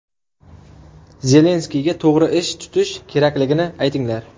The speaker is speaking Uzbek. Zelenskiyga to‘g‘ri ish tutish kerakligini aytinglar.